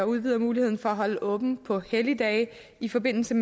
udvider muligheden for at holde åbent på helligdage i forbindelse